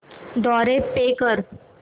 द्वारे पे कर